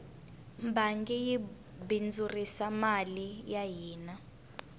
bangi yi bindzurisa mali ya hina